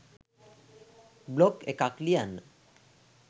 blog එකක් ලියන්න